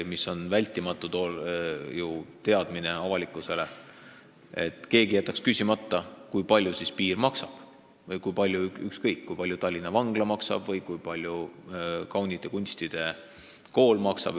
Samas peab avalikkus neid asju teadma ja pole loota, et keegi jätaks küsimata, kui palju siis meie piir maksab või kui palju Tallinna Vangla maksab või kui palju kaunite kunstide kool maksab.